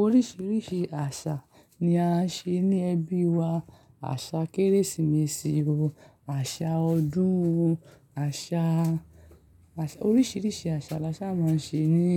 Oríṣiríṣi àṣà ni a ṣe ní ẹbí wa. Àṣà Kérésìmesì o, àṣà ọdún o, àṣà, àṣà, oríṣiríṣi àṣà laṣa máa ń ṣe ní